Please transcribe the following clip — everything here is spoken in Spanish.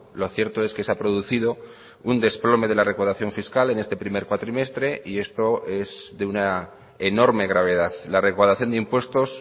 lo cierto es que se ha producido un desplome de la recaudación fiscal en este primer cuatrimestre y esto es de una enorme gravedad la recaudación de impuestos